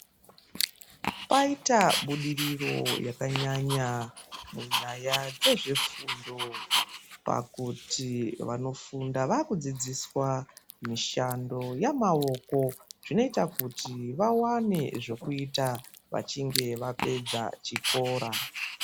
Paita budiriro yakanyanya munyaya dzezvefundo pakuti vanofunda vakudzidziswa mishando yamaoko zvinoita kuti vawane zvokuita, vachinge vapedza chikora.